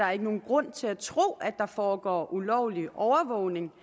er nogen grund til at tro at der foregår ulovlig overvågning